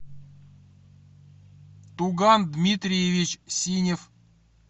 туган дмитриевич синев